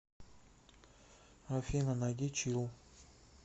афина найди чилл